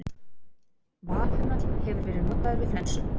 vallhumall hefur verið notaður við flensu